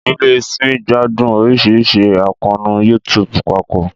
Ìdílé Smith gbádùn oríṣiríṣi àkóónú YouTube papọ̀